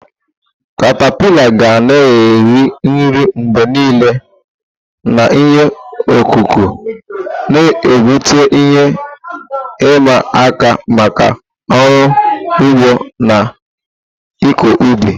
katapila ga na-eri nri mgbe niile na ihe ọkụkụ, na-ebute ihe ịma aka maka ọrụ ugbo na ịkọ ubi.